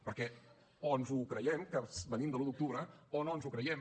perquè o ens ho creiem que venim de l’un d’octubre o no ens ho creiem